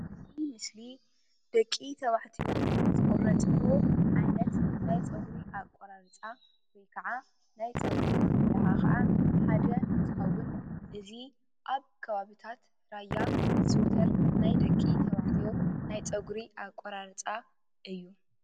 እዚ ምስሊ ደቂ ተባዕትዮ ዝቑረፅዎ ዓይነት ናይ ፀጉሪ ኣቆራርፃ ወይ ክዓ ናይ ፀጉሪ ኣመለኻኽዓ ሓደ እንትኸዉን እዚ ኣብ ከባብታት ራያ ዝዝዉተር ናይ ደቂ ተባዕትዮ ናይ ፀጉሪ ኣቆራርፃ እዩ፡፡